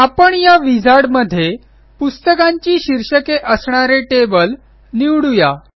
आपण या विझार्ड मध्ये पुस्तकांची शीर्षके असणारे टेबल निवडू या